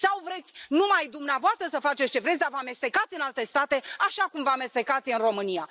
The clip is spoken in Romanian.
Sau vreți numai dumneavoastră să faceți ce vreți, dar să vă amestecați în alte state, așa cum vă amestecați în România.